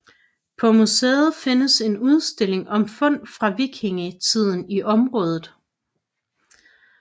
På museet findes en udstilling om fund fra vikingetiden i området